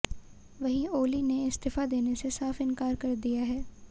वहीं ओली ने इस्तीफा देने से साफ इंकार कर दिया है